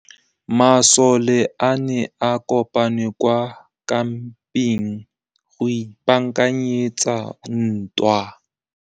Masole a ne a kopane kwa kampeng go ipaakanyetsa ntwa.